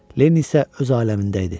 Lenniy isə öz aləmində idi.